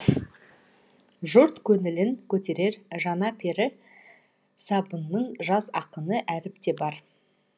жұрт көңілін көтерер жаңа пері сыбанның жас ақыны әріп те бар